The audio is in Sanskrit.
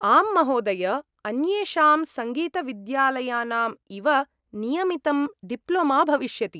आम्, महोदय! अन्येषां सङ्गीतविद्यालयनाम् इव नियमितं डिप्लोमा भविष्यति।